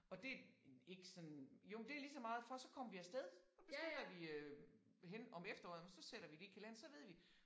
Og det ikke sådan jo men det ligeså meget for så kommer vi af sted. Så bestiller vi øh hen om efteråret men så sætter vi lige kalender så ved vi